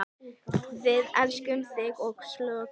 Við elskum þig og söknum.